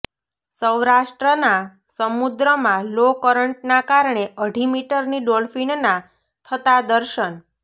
સૌરાષ્ટ્રના સમૂદ્રમા લો કરન્ટના કારણે અઢી મીટરની ડોલ્ફિનના થતા દર્શન